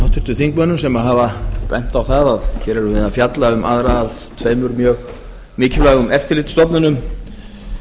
háttvirtum þingmönnum sem hafa bent á það að hér erum við að fjalla um aðra af tveimur mjög mikilvægum eftirlitsstofnunum